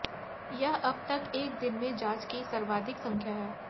यह अब तक एक दिन में जांच की सर्वाधिक संख्या है